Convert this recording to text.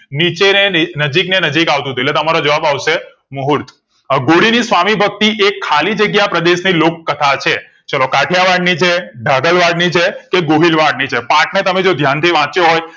નીચે ને નજીક ને નજીક આવતું એટલે તમારો જવાબ આવશે મુહૂર્ત હાંધોડી ની સ્વામી સ્વામી ભક્તિ એક ખાલી જગ્યા પ્રદેશ ને લોકકથા છે. ચલો કાઢીયાવાડ ની છે ભાગલવાડ ની છે કે ગોહિલવાડ ની છે પાઠ ને તમે જો ધ્યાનથી વાંચ્યો હોય